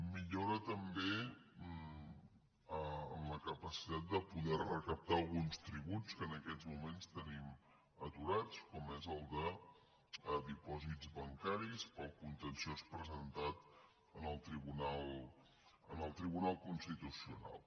millora també en la capacitat de poder recaptar alguns tributs que en aquests moments tenim aturats com és el de dipòsits bancaris pel contenciós presentat en el tribunal constitucional